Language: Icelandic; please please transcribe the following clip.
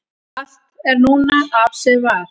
allt er núna af sem var